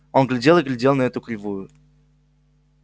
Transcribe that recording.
он глядел и глядел на эту кривую